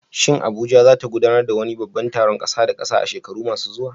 Shin Abuja za ta gudanar da wani babban taron ƙasa da ƙasa a shekaru masu zuwa?